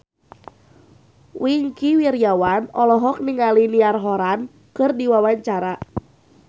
Wingky Wiryawan olohok ningali Niall Horran keur diwawancara